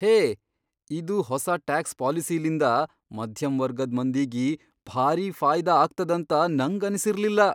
ಹೇ ಇದು ಹೊಸಾ ಟ್ಯಾಕ್ಸ್ ಪಾಲಿಸಿಲಿಂದ ಮಧ್ಯಮ್ ವರ್ಗದ್ ಮಂದಿಗಿ ಭಾರೀ ಫಾಯದಾ ಆಗ್ತದಂತ ನಂಗನಿಸಿರ್ಲಿಲ್ಲಾ.